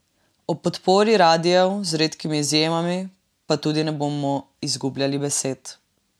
O podpori radiev, z redkimi izjemami, pa tudi ne bomo izgubljali besed.